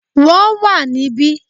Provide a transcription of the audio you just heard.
Wọ́n wà níbí